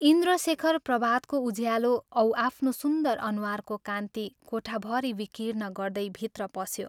इन्द्रशेखर प्रभातको उज्यालो औ आफ्नो सुन्दर अनुहारको कान्ति कोठाभरि विकीर्ण गर्दै भित्र पस्यो।